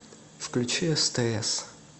включи стс